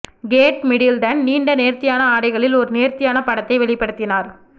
gate Middleton நீண்ட நேர்த்தியான ஆடைகளில் ஒரு நேர்த்தியான படத்தை வெளிப்படுத்தினார்